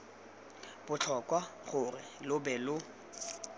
botlhokwa gore lo be lo